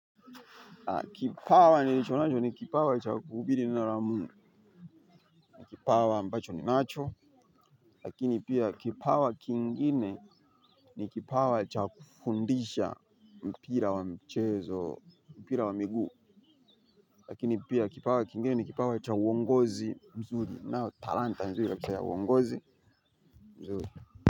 Kipawa nilicho nacho ni kipawa cha kuubiri neno la Mungu kipawa ambacho ni nacho. Lakini pia kipawa kingine ni kipawa ni cha kufundisha mpira wa mchezo mpira wa miguu. Lakini pia kipawa kingine ni kipawa ni cha uongozi mzuri nao talanta mzuri la kisa ya uongozi mzuri.